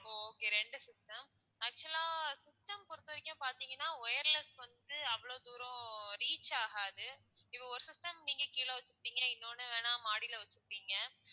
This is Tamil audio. okay ரெண்டு system actual ஆ system பொறுத்த வரைக்கும் பாத்தீங்கன்னா wireless வந்து அவ்வளவு தூரம் reach ஆகாது இப்போ ஒரு system நீங்க கீழ வச்சிருக்கீங்க இன்னொண்ணு வேணும்னா மாடில வச்சிருக்கீங்க